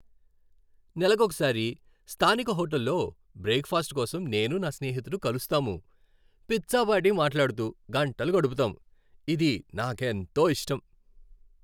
నెలకొకసారి స్థానిక హోటల్లో బ్రేక్ ఫాస్ట్ కోసం నేను నా స్నేహితుడు కలుస్తాము. పిచ్చాపాటి మాట్లాడుతూ గంటలు గడుపుతాము. ఇది నాకెంతో ఇష్టం.